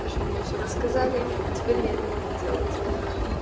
в общем мне все рассказали и теперь я это могу делать